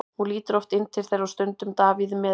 Hún lítur oft inn til þeirra og stundum Davíð með henni.